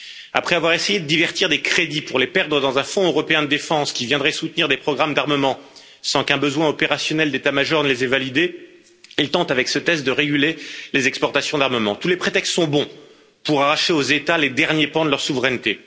Après avoir essayé de détourner des crédits pour les perdre dans un Fonds européen de défense, qui viendrait soutenir des programmes d'armement sans qu'un besoin opérationnel d'état major les ait validés, ils tentent avec ce texte de réguler les exportations d'armement. Tous les prétextes sont bons pour arracher aux États les derniers pans de leur souveraineté.